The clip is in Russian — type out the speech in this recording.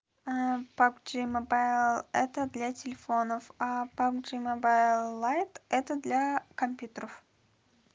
пап джи мобаил это для телефонов а пап джи мобаил лайт это для компьютеров